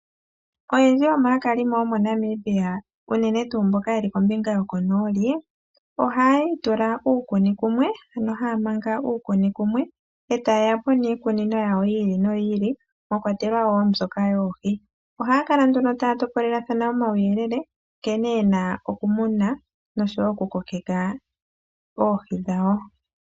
Oyendji yomaakalimo yomoNamibia uunene tuu mboka yeli kombinga yokonooli, ohaya itula uukuni kumwe ano haya manga uukuni kumwe e taye ya po niikunino yawo yi ili noyi ili mwakwatelwa wo mbyoka yoohi, ohaya kala nduno taya topolelathana omauyelele nkene ye na okumuna nosho wo okukokeka oohi dhawo.